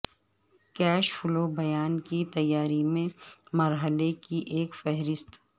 cash flow بیان کی تیاری میں مرحلے کی ایک فہرست